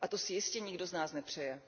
A to si jistě nikdo z nás nepřeje.